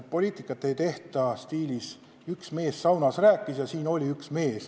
Poliitikat ei tehta stiilis "üks mees saunas rääkis" ja et oli kunagi üks hea mees.